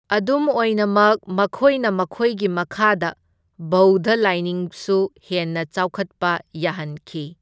ꯑꯗꯨꯝ ꯑꯣꯏꯅꯃꯛ ꯃꯈꯣꯏꯅ ꯃꯈꯣꯏꯒꯤ ꯃꯈꯥꯗ ꯕꯧꯙ ꯂꯥꯏꯅꯤꯡꯁꯨ ꯍꯦꯟꯅ ꯆꯥꯎꯈꯠꯄ ꯌꯥꯍꯟꯈꯤ꯫